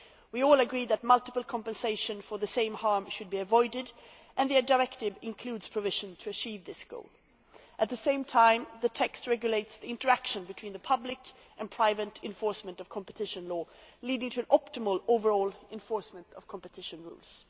We all agree that multiple compensation for the same harm should be avoided, and the directive includes provision to achieve this goal. At the same time, the text regulates interaction between the public and private enforcement of competition law, leading to an optimal overall enforcement of competition rules.